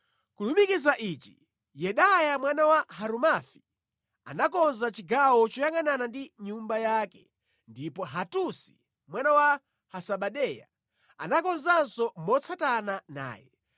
Kulumikiza ichi, Yedaya mwana wa Harumafi anakonza chigawo choyangʼanana ndi nyumba yake, ndipo Hatusi mwana wa Hasabaneya anakonzanso motsatana naye.